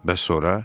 Bəs sonra?